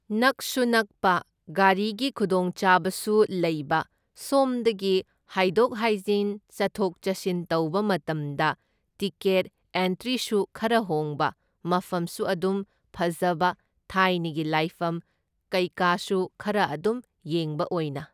ꯅꯛꯁꯨ ꯅꯛꯄ ꯒꯥꯔꯤꯒꯤ ꯈꯨꯗꯣꯡꯆꯥꯕꯁꯨ ꯂꯩꯕ, ꯁꯣꯝꯗꯒꯤ ꯍꯥꯏꯗꯣꯛ ꯍꯥꯏꯖꯤꯟ ꯆꯠꯊꯣꯛ ꯆꯠꯁꯤꯟ ꯇꯧꯕ ꯃꯇꯝꯗ ꯇꯤꯀꯦꯠ ꯑꯦꯟꯇ꯭ꯔꯤꯁꯨ ꯈꯔ ꯍꯣꯡꯕ, ꯃꯐꯝꯁꯨ ꯑꯗꯨꯝ ꯐꯖꯕ ꯊꯥꯏꯅꯒꯤ ꯂꯥꯏꯐꯝ ꯀꯩꯀꯥꯁꯨ ꯈꯔ ꯑꯗꯨꯝ ꯌꯦꯡꯕ ꯑꯣꯏꯅ꯫